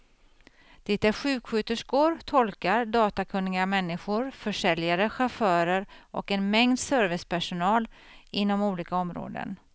Det är sjuksköterskor, tolkar, datakunniga människor, försäljare, chaufförer och en mängd servicepersonal inom olika områden.